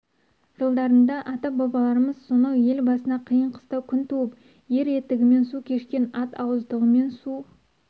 жылдарында ата-бабаларымыз сонау ел басына қиын-қыстау күн туып ер етігімен су кешкен ат ауыздығымен су